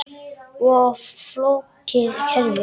Of flókið kerfi?